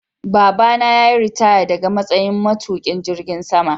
Baba na yayi ritaya daga matsayin matuƙin jirgin sama.